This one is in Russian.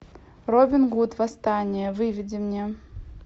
робин гуд восстание выведи мне